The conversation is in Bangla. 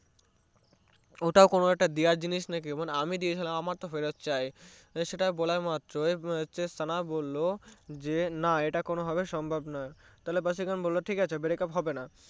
ওটা কোনো ফেরত দেওয়ার জিনিস নাকি আমি তো দিয়েছিলাম আমার ফেরত চাই সেটা বলা মাত্রই সানা বললো না এটা কোনোভাবে সম্ভব নয় তাহলে ভাসীকারান বললো breakup ঠিকাছে হবেনা